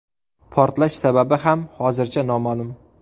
Portlash sababi ham hozircha noma’lum.